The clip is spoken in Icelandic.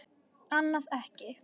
Annað ekki.